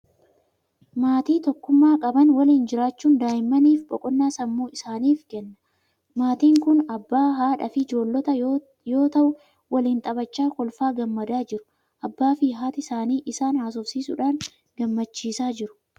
Maatii tokkummaa qaban waliin jiraachuun daa'immaniif boqonnaa sammuu isaaniif kenna. Maatiin kun abbaa, haadhaa fi ijoollota yoo ta'u, waliin taphachaa kolfaa gammadaa jiru. Abbaa fi haati isaanii isaan haasofsiisuudhaan gammachiisaa jiru.